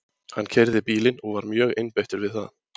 Hann keyrði bílinn og var mjög einbeittur við það.